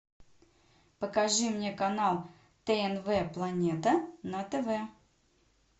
покажи мне канал тнв планета на тв